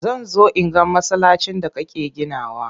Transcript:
Zan zo in ga masallacin da kake ginawa.